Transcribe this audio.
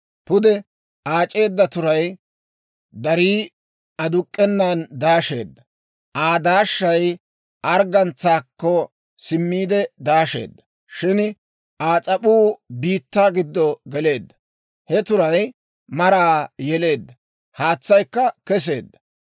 Pude aac'eedda turay darii aduk'k'enan daasheedda. Aa daashshay arggantsaakko simmiide daasheedda; shin Aa s'ap'uu biittaa giddo geleedda. He turay maraa yeleedda; haytsaakka kesseedda.